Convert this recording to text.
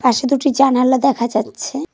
পাশে দুটি জালানা দেখা যাচ্ছে।